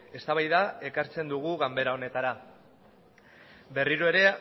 eztabaida ekartzen dugu ganbara honetara berriro ere